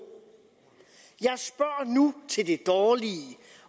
nu spørger til det dårlige